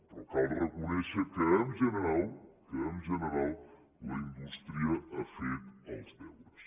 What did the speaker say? però cal reconèixer que en general la indústria ha fet els deures